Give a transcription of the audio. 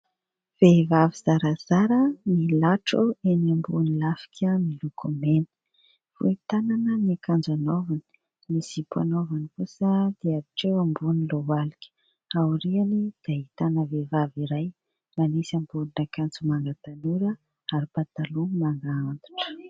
Vehivavy zarazara milatro eny ambon'ny lafika miloko mena, fohy tanana ny akanjo anaovany, ny zipo anaovany kosa dia hatreo ambony lohalika, aoriany dia ahitana vehivavy iray manisy ambonin'akanjo manga tanora ary pataloha manga antitra.